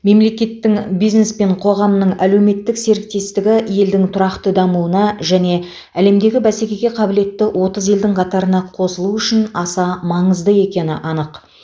мемлекеттің бизнес пен қоғамның әлеуметтік серіктестігі елдің тұрақты дамуына және әлемдегі бәсекеге қабілетті отыз елдің қатарына қосылу үшін аса маңызды екені анық